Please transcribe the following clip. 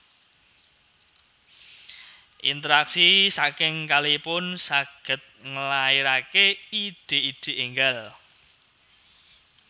Interaksi saking kalihipun saged ngelahirake ide ide enggal